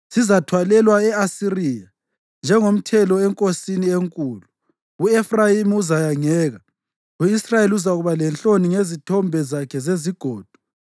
Sizathwalelwa e-Asiriya njengomthelo enkosini enkulu. U-Efrayimi uzayangeka; u-Israyeli uzakuba lenhloni ngezithombe zakhe zezigodo.